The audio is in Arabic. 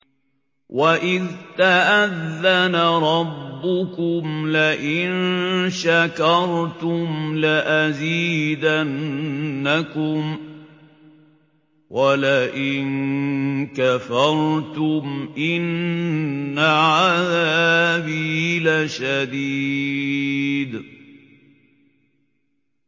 وَإِذْ تَأَذَّنَ رَبُّكُمْ لَئِن شَكَرْتُمْ لَأَزِيدَنَّكُمْ ۖ وَلَئِن كَفَرْتُمْ إِنَّ عَذَابِي لَشَدِيدٌ